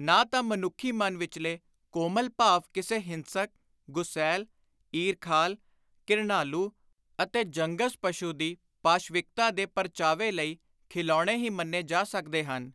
ਨਾ ਤਾਂ ਮਨੁੱਖੀ ਮਨ ਵਿਚਲੇ ਕੋਮਲ ਭਾਵ ਕਿਸੇ ਹਿੰਸਕ, ਗੁਸੈਲ, ਈਰਖਾਲ, ਘਿਰਣਾਲੂ ਅਤੇ ਜੰਗਜ਼ ਪਸ਼ੁ ਦੀ ਪਾਸ਼ਵਿਕਤਾ ਦੇ ਪਰਚਾਵੇ ਲਈ ਖਿਲਾਉਣੇ ਹੀ ਮੰਨੇ ਜਾ ਸਕਦੇ ਹਨ